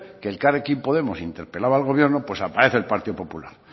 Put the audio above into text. que elkarrekin podemos interpelaba al gobierno pues aparece el partido popular